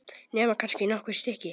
Nema kannski nokkur stykki.